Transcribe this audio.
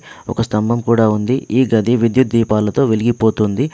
ఒక స్తంభం కూడా ఉంది. ఈ గది విద్యుత్ దీపాలతో వెలిగిపోతోంది.